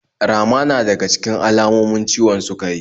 Rama na daga cikin alamomin ciwon sukari.